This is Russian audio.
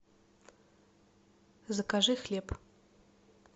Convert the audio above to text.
закажи хлеб